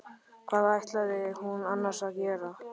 Hvað ætlaði hún annars að gera?